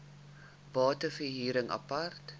bate verhuring apart